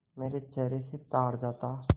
मेरे चेहरे से ताड़ जाता